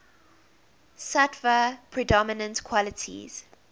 sattva predominant qualities